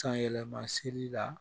Sanyɛlɛma seli la